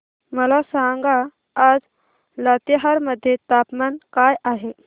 मला सांगा आज लातेहार मध्ये तापमान काय आहे